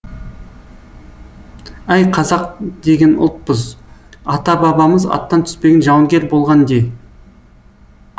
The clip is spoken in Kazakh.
әй қазақ деген ұлтпыз ата бабамыз аттан түспеген жауынгер болған де